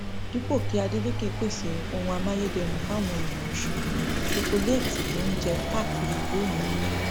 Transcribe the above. dípò kí adeleke pèsè ohun amáyédẹrùn fáwọn èèyàn ọsùn ṣokoléètì ló ń jẹ káàkiri ìlú òyìnbó